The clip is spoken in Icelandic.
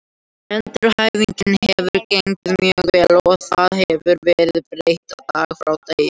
Endurhæfingin hefur gengið mjög vel og það hefur verið breyting dag frá degi.